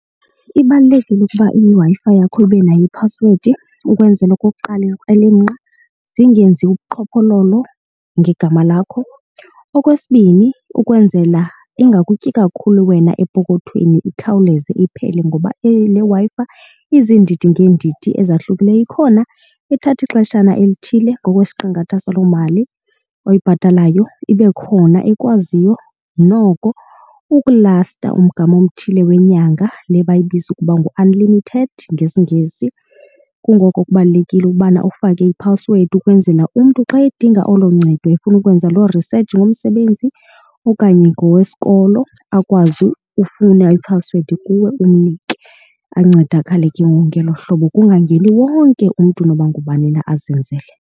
Ibalulekile ukuba iWi-Fi yakho ibe nayo iphasiwedi ukwenzela okokuqala, izikrelemnqa zingenzi ubuqhophololo ngegama lakho. Okwesibini ukwenzela ingakutyi kakhulu wena epokothweni ikhawuleze iphele ngoba le Wi-Fi iziindidi ngeendidi ezahlukileyo. Ikhona ethatha ixeshana elithile ngokwesiqingatha saloo mali oyibhatalayo. Ibe khona ekwaziyo noko ukulasta umgama othile wenyanga le bayibiza ukuba ngu-unlimited ngesiNgesi. Kungoko kubalulekile ukubana ufake iphasiwedi ukwenzela umntu xa edinga olo ncedo efuna ukwenza loo risetshi ngomsebenzi okanye ngowesikolo akwazi ufuna iphasiwedi kuwe umnike ancedakale ke ngoku ngelo hlobo, kungangeni wonke umntu noba ngubani na azenzele.